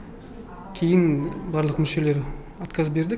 кейін барлық мүшелері отказ берді